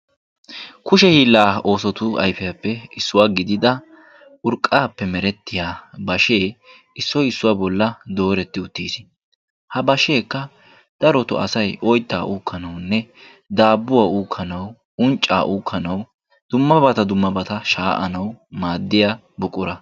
Kushe hiillaa oosotu ayifiyaappe issuwa gidida urqqaappe merettiya bashee issoy issuwa bolla dooretti uttis. Ha basheekka darotoo asay oyittaa uukkanawunne daabbuwa uukkanawu unccaa uukkanawu dummabata dummabata shaa'anawu maaddiya buqura.